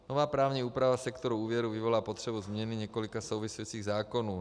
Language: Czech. Nová právní úprava sektoru úvěrů vyvolá potřebu změny několika souvisejících zákonů.